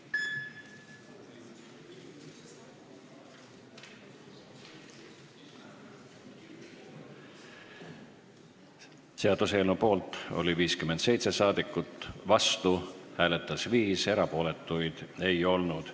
Hääletustulemused Seaduseelnõu poolt oli 57 rahvasaadikut, vastu hääletas 5, erapooletuid ei olnud.